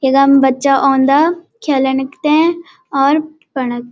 इखम बच्चा ओंदा खेलणक तें और पडंक --